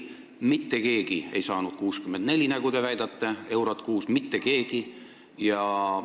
Mitte keegi ei saanud 64 eurot kuus, nagu te väidate – mitte keegi!